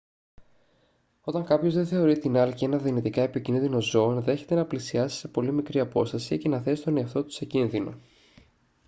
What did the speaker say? όταν κάποιος δεν θεωρεί την άλκη ένα δυνητικά επικίνδυνο ζώο ενδέχεται να πλησιάσει σε πολύ μικρή απόσταση και να θέσει τον εαυτό του σε κίνδυνο